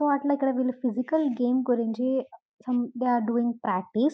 So అట్లా వీళ్లు ఇక్కడ ఫిసికల్ గేమ్ గురించి some they are doing practice .